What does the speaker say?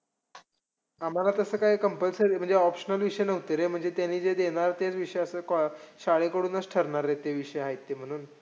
आम्हांला तसं काय compulsory म्हणजे काय optional विषय नव्हते रे. म्हणजे त्यांनी जे देणार, ते विषय असं शाळेकडूनचं ठरणार रे ते विषय आहेत ते म्हणून.